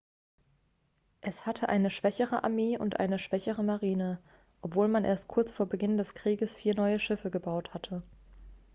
es hatte eine schwächere armee und eine schwächere marine obwohl man erst kurz vor beginn des krieges vier neue schiffe gebaut hatte